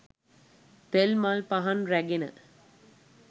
තෙල් මල් පහන් රැගෙන